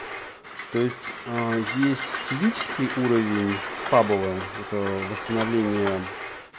то есть ээ есть физический уровень фабула это восстановление